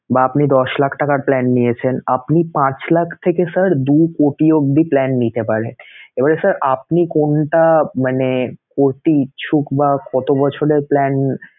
বা আপনি দশ লাখ টাকার plan নিয়েছেন আপনি পাঁচ লাখ থেকে sir দু কোটি অবধি plan নিতে পারেন এবারে আপনি কোনটা মানে করতে ইচ্ছুক বা কত বছরের plan